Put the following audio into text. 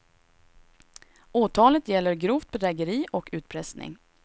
Åtalet gäller grovt bedrägeri och utpressning.